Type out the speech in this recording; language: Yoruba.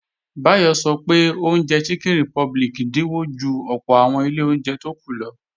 Báyọ̀ sọ pé oúnjẹ Chicken Republic dínwó ju ọ̀pọ̀ àwọn ilé oúnjẹ tó kù lọ